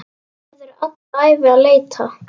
Verður alla ævi að leita.